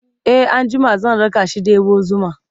e an jima zan rakashi ɗebo zuma